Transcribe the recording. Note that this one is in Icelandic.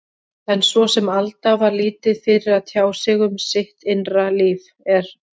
En svo sem Alda var lítið fyrir að tjá sig um sitt innra líf, er